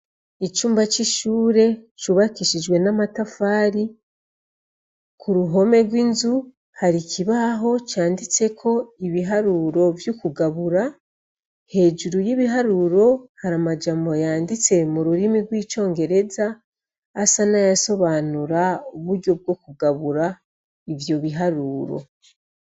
Icumba c'ishure cubakishijwe n'amatafari, ku ruhome rw'inzu hari ikibaho canditseko ibiharuro vy'ukugabura, hejuru y'ibiharuro hari amajambo yanditse mu rurimi rw'icongereza asa n'ayasobanura uburyo bwo kugabura ivyo biharuro.